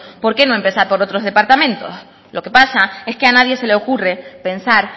por qué no empezar por otros departamentos lo que pasa es que a nadie se le ocurre pensar